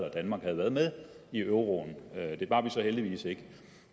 at danmark havde været med i euroen det var vi så heldigvis ikke